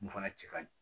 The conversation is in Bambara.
Mun fana cɛ ka ɲi